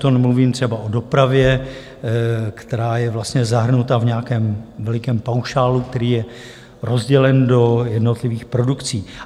To nemluvím třeba o dopravě, která je vlastně zahrnuta v nějakém velikém paušálu, který je rozdělen do jednotlivých produkcí.